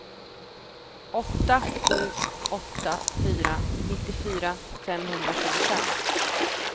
åtta sju åtta fyra nittiofyra femhundratjugofem